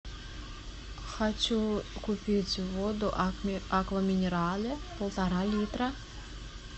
хочу купить воду аква минерале полтора литра